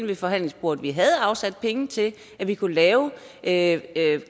ved forhandlingsbordet vi havde afsat penge til at vi kunne lave lave